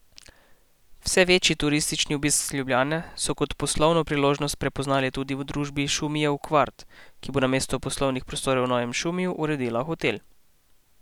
Vse večji turistični obisk Ljubljane so kot poslovno priložnost prepoznali tudi v družbi Šumijev kvart, ki bo namesto poslovnih prostorov v novem Šumiju uredila hotel.